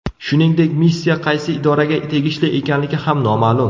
Shuningdek, missiya qaysi idoraga tegishli ekanligi ham noma’lum.